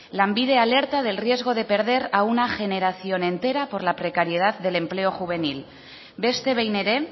lanbide alerta del riesgo de perder a una generación entera por la precariedad del empleo juvenil beste behin ere